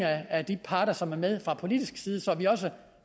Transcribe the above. af de parter som er med fra politisk side så vi også